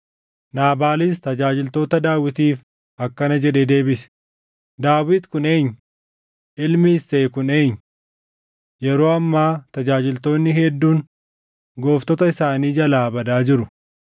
Naabaalis tajaajiltoota Daawitiif akkana jedhee deebise; “Daawit kun eenyu? Ilmi Isseey kun eenyu? Yeroo ammaa tajaajiltoonni hedduun gooftota isaanii jalaa badaa jiru.